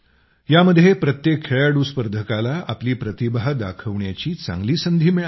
यामध्ये प्रत्येक खेळाडू स्पर्धकाला आपली प्रतिभा दाखवण्याची चांगली संधी मिळाली